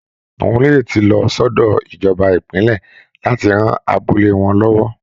Àwọn olóyè ti lọ sọ́dọ̀ ìjọba ìpínlẹ̀ láti ran abúlé wọn lọ́wọ́